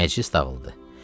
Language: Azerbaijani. Məclis dağıldı.